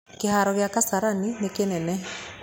Kĩharo gĩa Kasarani nĩ kĩnene.